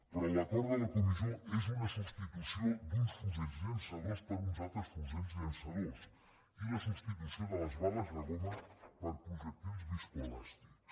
però l’acord de la comissió és una substitució d’uns fusells llançadors per uns altres fusells llançadors i la substitució de les bales de goma per projectils viscoelàstics